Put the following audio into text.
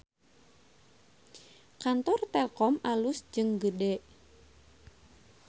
Kantor Telkom alus jeung gede